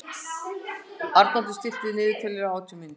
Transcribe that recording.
Arnoddur, stilltu niðurteljara á átján mínútur.